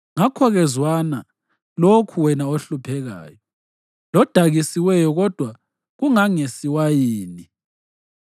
Ngakho-ke zwana lokhu wena ohluphekayo, lodakisiweyo kodwa kungasingewayini.